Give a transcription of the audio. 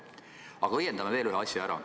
Aga õiendame ära veel ühe asja.